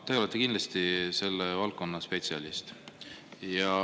Te olete kindlasti selle valdkonna spetsialist.